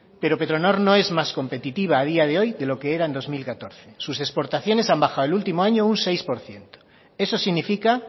pero petronor no es más competitiva a día de hoy de lo que era en dos mil catorce sus exportaciones han bajado el último año un seis por ciento eso significa